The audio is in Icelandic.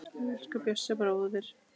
Elsku Bjössi bróðir.